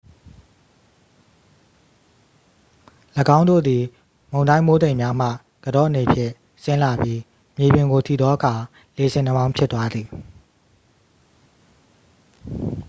၎င်းတို့သည် မုန်တိုင်း မိုးတိမ်များမှ ကန်တော့အနေဖြင့် ဆင်းလာပြီး မြေပြင်ကို ထိသောအခါ လေဆင်နှာမောင်းဖြစ်သွားသည်